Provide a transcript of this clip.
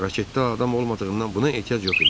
Raketdə adam olmadığından buna ehtiyac yox idi.